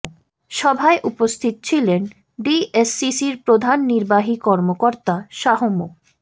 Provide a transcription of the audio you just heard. সভায় উপস্থিত ছিলেন ডিএসসিসির প্রধান নির্বাহী কর্মকর্তা শাহ্ মো